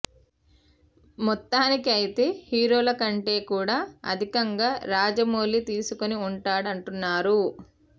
మొత్తానికి అయితే హీరోల కంటే కూడా అధికంగా రాజమౌళి తీసుకుని ఉంటాడు అంటున్నారు